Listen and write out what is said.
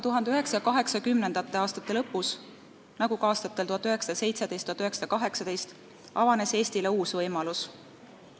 1980-ndate aastate lõpus, nagu ka aastatel 1917–1918, avanes aga Eestile uus võimalus.